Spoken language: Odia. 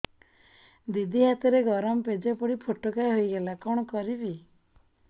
ଦିଦି ହାତରେ ଗରମ ପେଜ ପଡି ଫୋଟକା ହୋଇଗଲା କଣ କରିବି